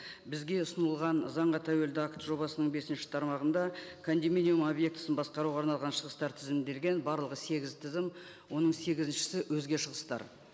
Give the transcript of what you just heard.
бізге ұсынылған заңға тәуелді акт жобасының бесінші тармағында объектісін басқаруға арналған шығыстар тізімін берген барлығы сегіз тізім оның сегізіншісі өзге шығыстар